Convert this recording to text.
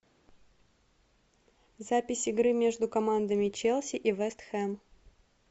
запись игры между командами челси и вест хэм